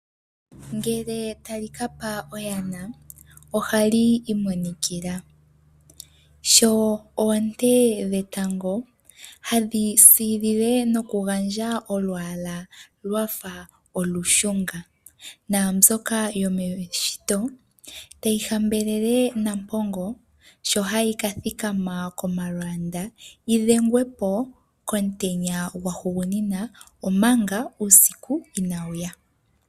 Ngele tali ka pa oyana ohali imonikila sho oonte dhetango hadhi siilile nokugandja olwaala lwa fa olushunga, naambyoka yomeshito tayi hambelele Nampongo sho hayi ka thikama komalwaanda yi dhengwe po komutenya gwahugunina omanga uusiku inaa wu ya.